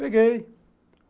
Peguei.